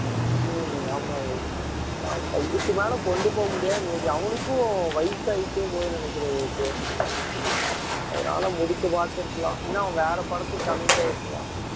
உம் ஆமா விவேக் ஆனா இதுக்கு மேல கொண்டு போக முடியாதுன்னு நினைக்கிறேன் அவனுக்கும் வயசாயிட்டே போகுதுன்னு நினைக்கிறேன் விவேக் அதனால முடிக்க பார்த்திருக்கலாம் இல்லனா அவங்க வேற படத்துக்கு commit ஆயிருக்கலாம்